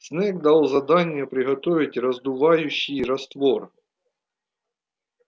снегг дал задание приготовить раздувающий раствор